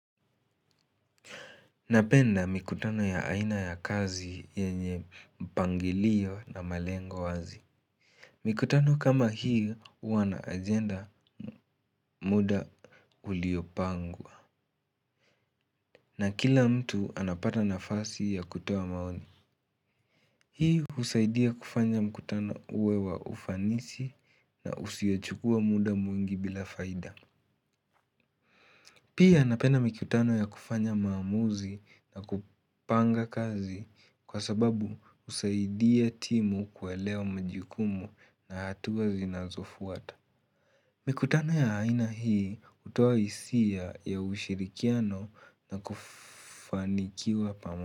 Napenda mikutano ya aina ya kazi yenye mpangilio na malengo wazi. Mikutano kama hiyo huwa na agenda muda uliopangwa. Na kila mtu anapata nafasi ya kutoa maoni. Hii husaidia kufanya mkutano uwe wa ufanisi na usiochukua muda mwingi bila faida. Pia napenda mikutano ya kufanya maamuzi na kupanga kazi kwa sababu usaidia timu kuelewa majukumu na hatuwa zinazofuata. Mikutano ya haina hii utoa hisia ya ushirikiano na kufanikiwa pamoja.